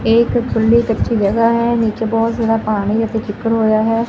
ਇਕ ਖੁੱਲੀ ਕੱਚੀ ਜਗਹ ਹੈ ਨੀਚੇ ਬਹੁਤ ਜ਼ਿਆਦਾ ਪਾਣੀ ਅਤੇ ਚਿੱਕੜ ਹੋਆ ਹੈ।